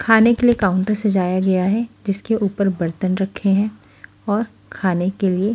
खाने के लिए काउंटर सजाया गया है जिसके ऊपर बर्तन रखे हैं और खाने के लिए--